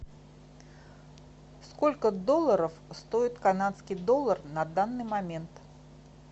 сколько долларов стоит канадский доллар на данный момент